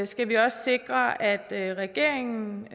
skal vi også sikre at at regeringen